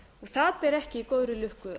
það ber ekki góðri lukku